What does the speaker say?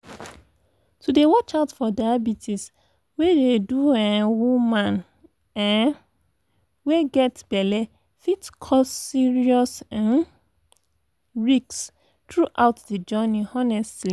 to dey watch out for diabetes wey dey do um woman um wey get belle fit cause serious um risks throughout de journey honestly